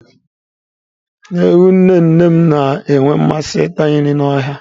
Ewu nne nne m na-enwe mmasị ịta nri n'ọhịa.